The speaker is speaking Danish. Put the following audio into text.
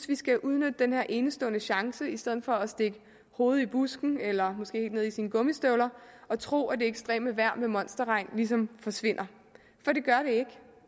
vi skal udnytte den her enestående chance i stedet for at stikke hovedet i busken eller måske ned i gummistøvlerne og tro at det ekstreme vejr med monsterregn ligesom forsvinder for det gør det ikke